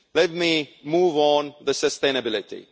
Let me move on to sustainability.